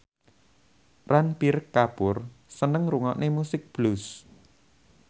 Ranbir Kapoor seneng ngrungokne musik blues